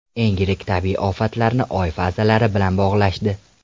Eng yirik tabiiy ofatlarni Oy fazalari bilan bog‘lashdi.